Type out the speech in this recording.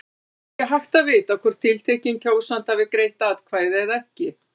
Annars er ekki hægt að vita hvort tiltekinn kjósandi hafi greitt atkvæði eða ekki.